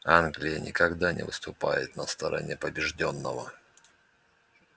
англия никогда не выступает на стороне побеждённого